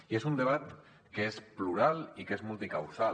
i és un debat que és plural i que és multicausal